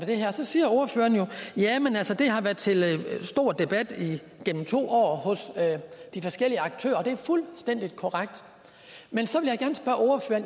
det her så siger ordføreren jamen altså det har været til stor debat igennem to år hos de forskellige aktører det er fuldstændig korrekt men så vil